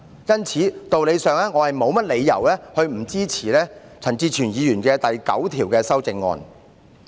因此，我沒理由不支持陳志全議員就第9條提出的修正案。